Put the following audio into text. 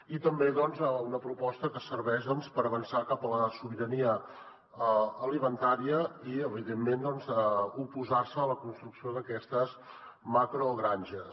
i també una proposta que serveix per avançar cap a la sobirania alimentària i evidentment oposar se a la construcció d’aquestes macrogranges